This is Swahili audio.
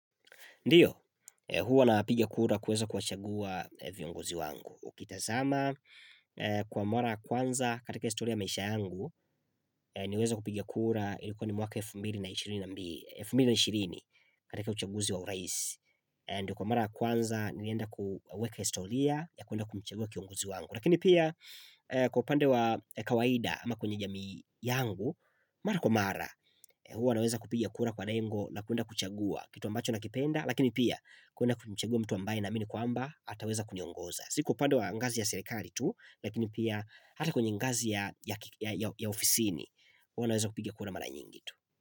Ndiyo, huwa napigia kura kueza kuwachagua viongozi wangu. Ukitazama, kwa mara kwanza katika historia maisha yangu, niweza kupigia kura ilikuwa ni mwaka wa elfu mbili na ishiri katika uchaguzi wa uraisi. Ndiyo kwa mara kwanza, nilienda kweka historia ya kuenda kumchagua kiongozi wangu. Lakini pia, kwa upande wa kawaida ama kwenye jami yangu, mara kwa mara, huwa naweza kupiga kura kwa rengu na kuenda kuchagua kitu ambacho na kipenda. Lakini pia kuna kumchagua mtu ambaye naamini kwamba ataweza kuniongoza Si kwa upande wa ngazi ya serikali tu Lakini pia hata kwenye ngazi ya ofisini huwa naweza kupigia kura mara nyingi tu.